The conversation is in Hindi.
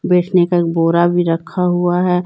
बैठने का बोरा भी रखा हुआ है।